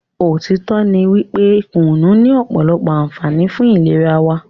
òtítọ́ ní wípé kùnú ní ọ̀pọ̀lọpọ̀ ànfààní fún ìlera wa.